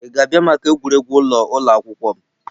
Ị ga-abịa maka egwuregwu ụlọ ụlọ akwụkwọ m?